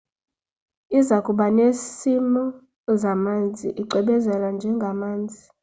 izakuba nesimo zamanzi icwebezela njengamazi